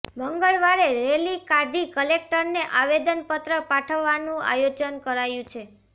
મંગળવારે રેલી કાઢી કલેકટરને આવેદનપત્ર પાઠવવાનું આયોજન કરાયું છે